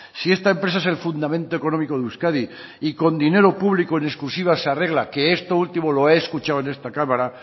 si esta empresa es el fundamento económico de euskadi y con dinero público en exclusiva se arregla que esto último lo he escuchado en esta cámara